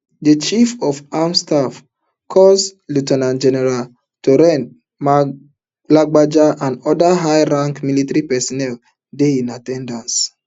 di chief of army staff coas lieu ten ant general taoreed lagbaja and oda high ranking military personnel dey in at ten dance